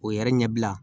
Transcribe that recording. O yɛrɛ ɲɛbila